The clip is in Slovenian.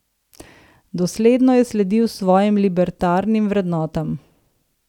Dosledno je sledil svojim libertarnim vrednotam.